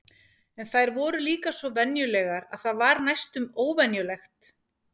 En þær voru líka svo venjulegar að það var næstum óvenjulegt.